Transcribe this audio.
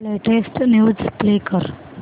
latest news play कर